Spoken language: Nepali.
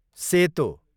सेतो